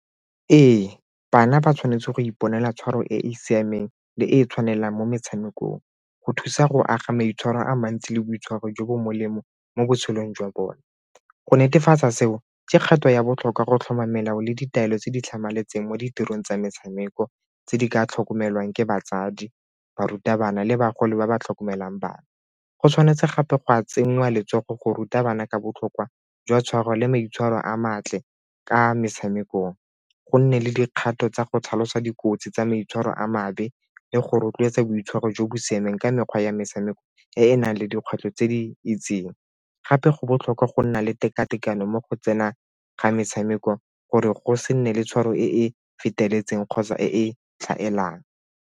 Ee, bana ba tshwanetse go iponela tshwaro e e siameng le e tshwanelang mo metshamekong go thusa go aga maitshwaro a mantsi le boitshwaro jo bo molemo mo botshelong jwa bone. Go netefatsa seo, ke kgato ya botlhokwa go tlhoma melao le ditaelo tse di tlhamaletseng mo ditirong tsa metshameko tse di ka tlhokomelwang ke batsadi, barutabana le bagolo ba ba tlhokomelang bana go tshwanetse gape go ka tsenyiwa letsogo go ruta bana ka botlhokwa jwa tshware le maitshwaro a matle ka metshamekong, go nne le dikgato tsa go tlhalosa dikotsi tsa maitshwaro a makgabe le go rotloetsa boitshwaro jo bo siameng ka mekgwa ya metshameko e e nang le dikgwetlho tse di itseng. Gape go botlhokwa go nna le tekatekano mo go tsena ga metshameko gore go se nne le tshwaro e e feteletseng kgotsa e e tlhaelang.